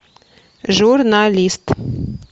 журналист